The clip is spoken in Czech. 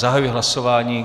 Zahajuji hlasování.